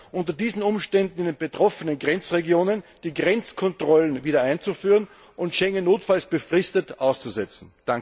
unter diesen Umständen in den betroffenen Grenzregionen die Grenzkontrollen wiedereinzuführen und Schengen notfalls befristet auszusetzen.